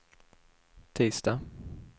tisdag